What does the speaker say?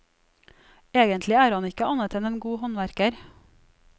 Egentlig er han ikke annet enn en god håndverker.